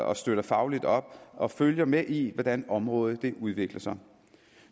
og støtter fagligt op og følger med i hvordan området udvikler sig